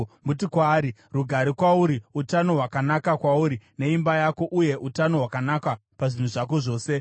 Muti kwaari, ‘Rugare kwauri! Utano hwakanaka kwauri neimba yako! Uye utano hwakanaka pazvinhu zvako zvose!